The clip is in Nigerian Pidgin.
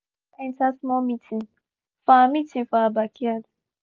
the neighbor dog waka enter small meeting for our meeting for our backyard